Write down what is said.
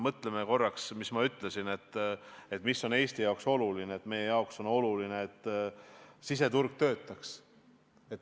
Mõtleme korraks selle peale, mida ma ütlesin Eesti jaoks olevat olulise – meie jaoks on oluline, et siseturg töötaks.